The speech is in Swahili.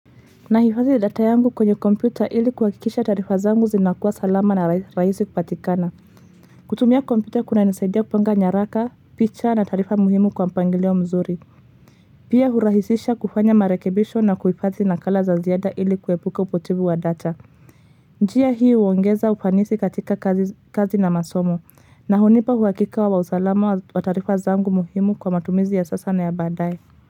Nahifadhi data yangu kwenye kompyuta ili kuhakikisha tarifa zangu zinakuwa salama na rahisi kupatikana. Kutumia kompyuta kunanisaidia kupanga nyaraka, picha na taarifa muhimu kwa mpangilio mzuri. Pia hurahisisha kufanya marekebisho na kuhifadhi nakala za ziada ili kuepuka upotefu wa data. Njia hii uongeza ufanisi katika kazi na masomo na hunipa uhakika wa usalama wa taarifa zangu muhimu kwa matumizi ya sasa na ya baadae.